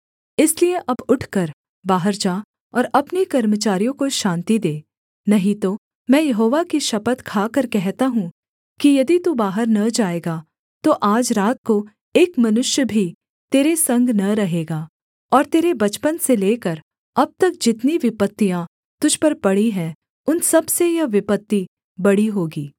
इसलिए अब उठकर बाहर जा और अपने कर्मचारियों को शान्ति दे नहीं तो मैं यहोवा की शपथ खाकर कहता हूँ कि यदि तू बाहर न जाएगा तो आज रात को एक मनुष्य भी तेरे संग न रहेगा और तेरे बचपन से लेकर अब तक जितनी विपत्तियाँ तुझ पर पड़ी हैं उन सबसे यह विपत्ति बड़ी होगी